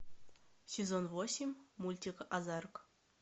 сезон восемь мультик озарк